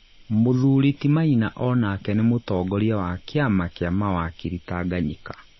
Mũthuri ti Maina onake nĩ mũtongoria wa kĩama kĩa mawakiri Tanganyika